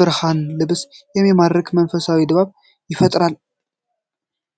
ብርሃን ልብን የሚማርክ መንፈሳዊ ድባብ ይፈጥራል።